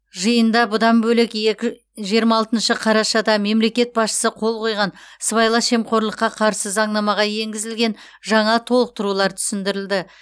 жиында бұдан бөлек екі жиырма алтыншы қарашада мемлекет басшысы қол қойған сыбайлас жемқорлыққа қарсы заңнамаға енгізілген жаңа толықтырулар түсіндірілді